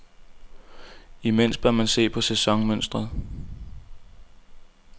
Imens bør man se på sæsonmønsteret.